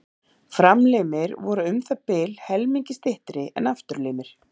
Framlimir voru um það bil helmingi styttri en afturlimir.